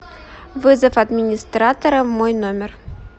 вызов администратора в мой номер